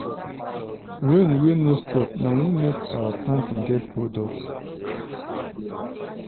rain wey no stop na im make our planting get holdup.